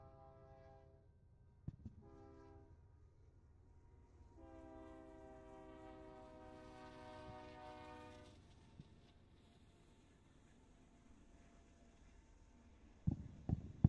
Macca na'iyaa ogiyaa doonan uttada banggaa shaayayida de'iyaara miyiaakko siimmada miyiyaan de'iyaan asaa xeellayda de'awus. i miyiyaankka cora guutta naati uttidosoona.